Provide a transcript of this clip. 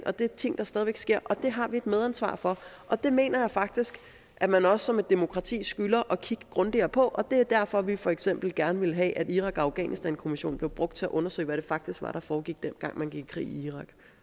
og det er ting der stadig væk sker det har vi et medansvar for og det mener jeg faktisk at man også som et demokrati skylder at kigge grundigere på og det er derfor vi for eksempel gerne ville have at irak og afghanistankommissionen blev brugt til at undersøge hvad det faktisk var der foregik dengang man gik i krig i